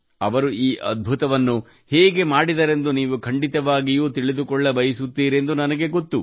ಅವರು ಈ ಅದ್ಭುತವನ್ನು ಹೇಗೆ ಮಾಡಿದರೆಂದು ನೀವು ಖಂಡಿತವಾಗಿಯೂ ತಿಳಿದುಕೊಳ್ಳಬಯುಸುತ್ತೀರೆಂದು ನನಗೆ ಗೊತ್ತು